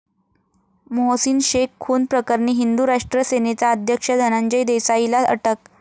मोहसीन शेख खून प्रकरणी हिंदू राष्ट्र सेनेचा अध्यक्ष धनंजय देसाईला अटक